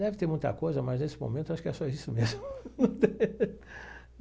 Deve ter muita coisa, mas nesse momento acho que é só isso mesmo.